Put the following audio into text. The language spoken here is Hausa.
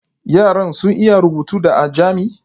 Yaran sun iya rubutu da ajami?